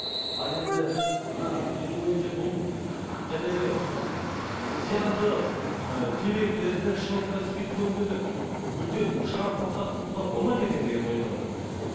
ал енді мына менің ойымша бұл зиянды ыыы темекілерді шылымды спирттік өнімдерді мүлдем шығарып тоқтатып тастауға болмайды ма екен деген ойда отырмын мен